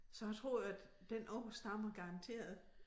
Så jeg tror at den ord stammer garanteret